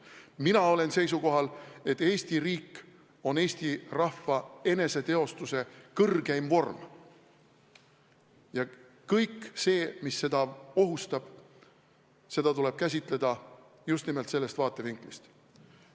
Mina olen seisukohal, et Eesti riik on eesti rahva eneseteostuse kõrgeim vorm ja kõike seda, mis seda ohustab, tuleb käsitleda just nimelt sellest vaatevinklist.